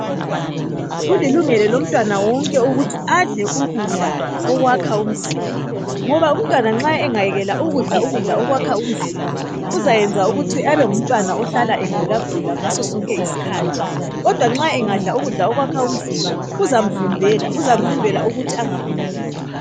Kulilungelo lomtwana wonke ukuthi adle ukudla okwakha umzimba, ngoba umtwana nxa engayekela ukudla ukudla okwakha umzimba, uzayenza ukuthi abenguntwana ohlala egulagulagula ngaso sonke isikhathi , kodwa nxa angadka ukudla okwakha umzimba kuzamvimbela ukuthi angaguli.